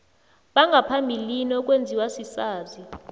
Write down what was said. bangaphambilini okwenziwa sisazi